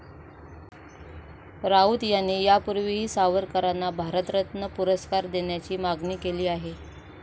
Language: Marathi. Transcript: राऊत यांनी यापूर्वीही सावरकरांना भारतरत्न पुरस्कार देण्याची मागणी केली आहे.